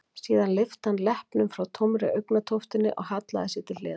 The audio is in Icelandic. Síðan lyfti hann leppnum frá tómri augnatóftinni og hallaði sér til hliðar.